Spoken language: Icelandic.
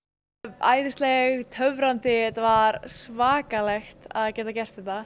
æðisleg töfrandi þetta var svakalegt að geta gert þetta